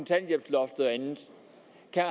jeg